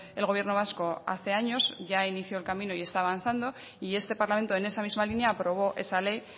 el gobierno vasco hace años ya inició el camino y está avanzando y este parlamento en esa misma línea aprobó esa ley